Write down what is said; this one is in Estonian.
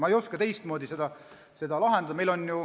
Ma ei oska seda teistmoodi lahendada.